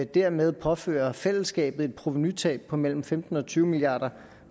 dermed påføre fællesskabet et provenutab på mellem femten og tyve milliard